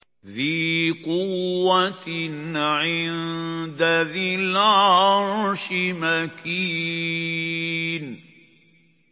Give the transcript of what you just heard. ذِي قُوَّةٍ عِندَ ذِي الْعَرْشِ مَكِينٍ